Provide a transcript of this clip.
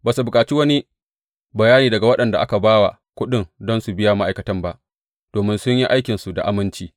Ba su bukaci wani bayani daga waɗanda aka ba wa kuɗin don su biya ma’aikatan ba, domin sun yi aikinsu da aminci.